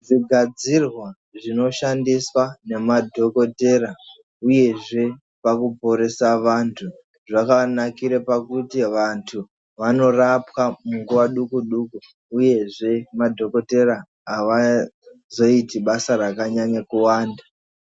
Zvigadzirwa zvinoshandiswa ngemadhokodheya uyezve pakuporesa vantu, zvakanakire kuti vantu vanorapwa munguva duku-duku uyezve madhokodheya avazoiti basa rakanyanya kuwanda.